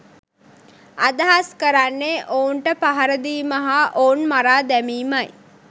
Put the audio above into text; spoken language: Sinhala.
අදහස් කරන්නේ ඔවුන්ට පහර දීම හා ඔවුන් මරා දැමීමයි